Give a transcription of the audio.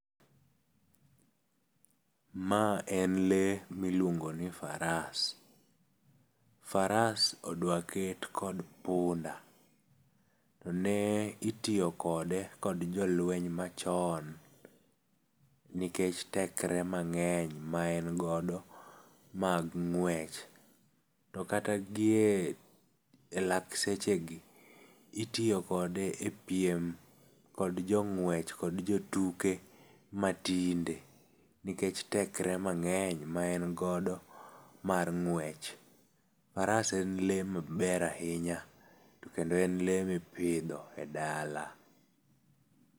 Ma en lee miluongo ni faras. Faras odwa ket kod punda. Ne itiyo kode kod jolueny machon nikech tekre mang'eny ma en godo mag ng'wech. To kata gie elak sechegi, itiyo kode epiem kod jong'uech kod jotuke matinde nikech tekre mang'eny ma en godo mar ng'wech. Faras en lee maber ahinya to kendo en lee miopidho e dala.